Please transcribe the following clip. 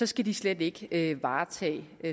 skal de slet ikke varetage